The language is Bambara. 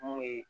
Mun ye